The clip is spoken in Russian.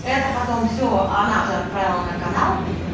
это потом всё она же отправила на канал